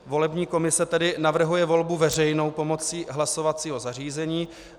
Volební komise tedy navrhuje volbu veřejnou pomocí hlasovacího zařízení.